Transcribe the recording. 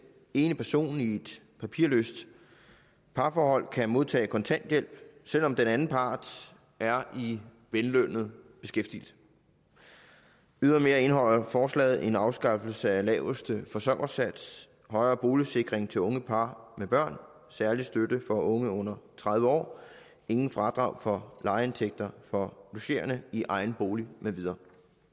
ene person i et papirløst parforhold kan modtage kontanthjælp selv om den anden part er i vellønnet beskæftigelse ydermere indeholder forslaget en afskaffelse af laveste forsørgersats højere boligsikring til unge par med børn særlig støtte for unge under tredive år ingen fradrag for lejeindtægter for logerende i egen bolig med videre